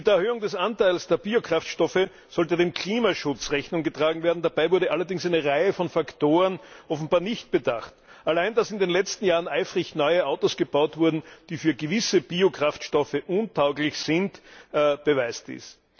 Mit Erhöhung des Anteils der Biokraftstoffe sollte dem Klimaschutz Rechnung getragen werden, dabei wurde allerdings eine Reihe von Faktoren offenbar nicht bedacht. Allein dass in den letzten Jahren eifrig neue Autos gebaut wurden, die für gewisse Biokraftstoffe untauglich sind, beweist dies.